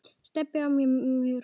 Stebbi átti alltaf mörg hross.